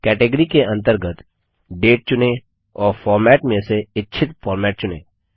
category के अंतर्गत date चुनें और फॉर्मेट में से इच्छित फॉर्मेट चुनें